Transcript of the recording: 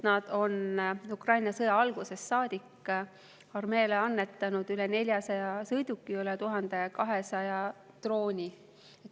Nad on Ukraina sõja algusest saadik armeele annetanud üle 400 sõiduki ja üle 1200 drooni.